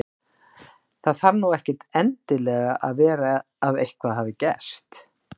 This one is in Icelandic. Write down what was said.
Það þarf nú ekkert endilega að vera að eitthvað hafi gerst.